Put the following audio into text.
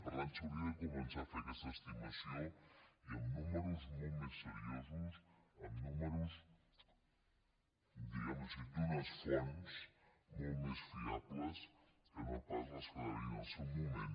per tant s’hauria de començar a fer aquesta estimació i amb números molt més seriosos amb números diguem·ho així d’unes fonts molt més fiables que no pas les que va haver·hi en el seu moment